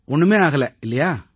ஒண்ணுமே ஆகலை இல்லையா